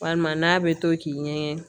Walima n'a bɛ to k'i ɲɛgɛn